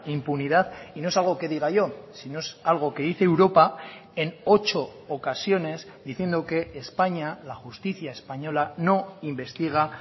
impunidad y no es algo que diga yo sino es algo que dice europa en ocho ocasiones diciendo que españa la justicia española no investiga